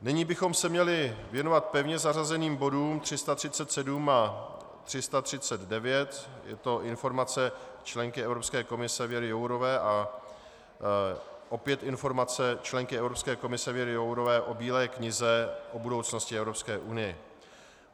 Nyní bychom se měli věnovat pevně zařazeným bodům 337 a 339, je to informace členky Evropské komise Věry Jourové a opět informace členky Evropské komise Věry Jourové o Bílé knize o budoucnosti Evropské unie.